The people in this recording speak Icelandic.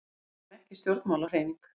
Við vorum ekki stjórnmálahreyfing.